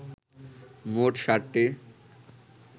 মোট সাতটি